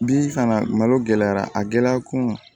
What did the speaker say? Bi fana malo gɛlɛyara a gɛlɛya kun